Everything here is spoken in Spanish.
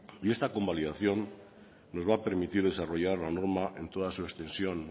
y esta convalidación nos va a permitir desarrollar la norma en toda su extensión